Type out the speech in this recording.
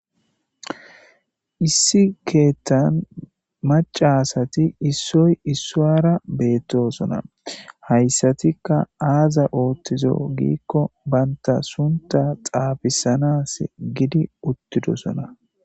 Issi keetha macca asati issoy isara betosona haysatika azi ootjizo gikon banta z su.tha xaafidanasi hidi uttida